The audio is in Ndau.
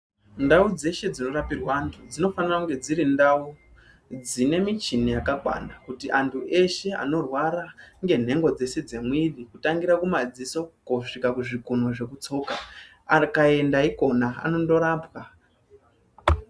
Ndau dzeshe dzinorapirwa anthu dzinofana kunge dziri ndau dzine michini yakakwana kuti anthu eshe anorwara ngenhengo dzese dzemwiri kutangira kumadziso kosvika kizvikunwe zvekutsoka akaenda ikona anondorapwa.